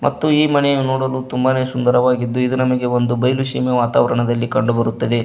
ಮತ್ತು ಈ ಮನೆಯು ನೋಡಲು ತುಂಬ ಸುಂದರವಾಗಿದ್ದು ಇದು ನಮಗೆ ಒಂದು ಬಯಲು ಸೀಮೆಯ ವಾತಾವರಣದಲ್ಲಿ ಕಂಡು ಬರುತ್ತದೆ.